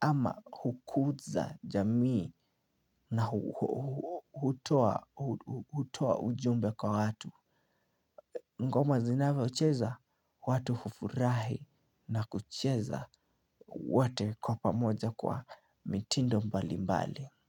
Ama hukuza jamii na hutoa ujumbe kwa watu ngoma zinavyocheza watu hufurahi na kucheza wote kwa pamoja kwa mitindo mbali mbali.